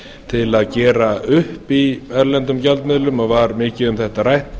til að gera upp í erlendum gjaldmiðlum og var mikið um þetta rætt